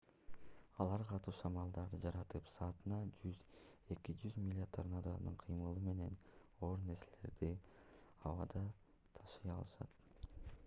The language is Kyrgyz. алар катуу шамалдарды жаратып саатына 100–200 миля торнадонун кыймылы менен оор нерселерди абада ташый алышат